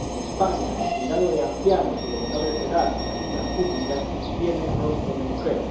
en España, el cuidado de ancianos y de menores de edad sin ayudas públicas tiene rostro de mujer.